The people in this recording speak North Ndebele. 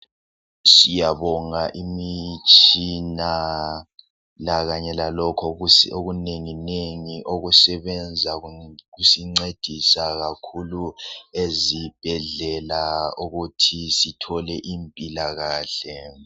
Siyabonga imitshina lakanye lalokhu okunenginengi okusebenza ukusincedisa kakhulu ezibhedlela ukuthi sithole impila kahle